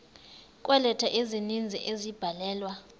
kweeleta ezininzi ezabhalelwa